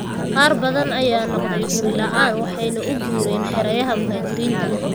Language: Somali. Qaar badan ayaa noqday guri la'aan waxayna u guureen xeryaha muhaajiriinta.